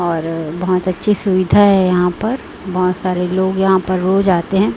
और बहोत अच्छी सुविधा है यहाँ पर बहोत सारे लोग यहां पर रोज आते है।